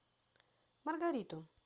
маргариту